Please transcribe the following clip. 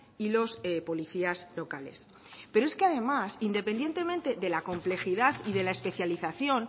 y los policías locales pero es que además independientemente de la complejidad y de la especialización